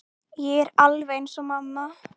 Ég er alveg eins og mamma.